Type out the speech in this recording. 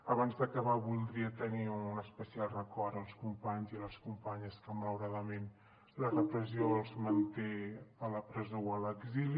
abans d’acabar voldria tenir un especial record per als companys i les companyes que malauradament la repressió els manté a la presó o a l’exili